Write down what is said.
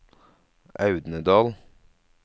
Audnedal